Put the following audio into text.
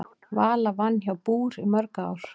Vala vann hjá BÚR í mörg ár.